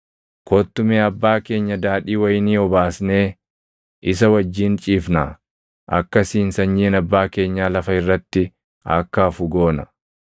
Kottu mee abbaa keenya daadhii wayinii obaasnee isa wajjin ciifnaa; akkasiin sanyiin abbaa keenyaa lafa irratti akka hafu goona.”